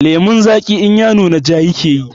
Lemon zagi in ya nuna ja yake